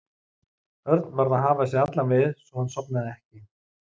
Örn varð að hafa sig allan við svo að hann sofnaði ekki.